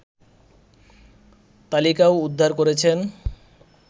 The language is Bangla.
তালিকাও উদ্ধার করেছেন